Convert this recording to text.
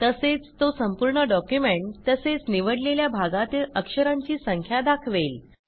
तसेच तो संपूर्ण डॉक्युमेंट तसेच निवडलेल्या भागातील अक्षरांची संख्या दाखवेल